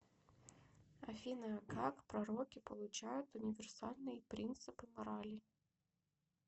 афина как пророки получают универсальные принципы морали